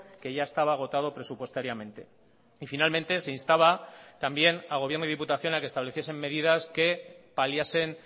que ya estaba agotado presupuestariamente y finalmente se instaba también al gobierno y diputación a que estableciesen medidas que paliasen